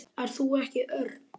Ert þú ekki Örn?